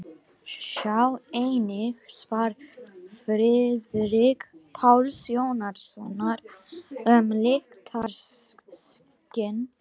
Sjá einnig svar Friðrik Páls Jónssonar um lyktarskyn.